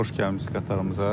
Xoş gəlmisiz qatarımıza.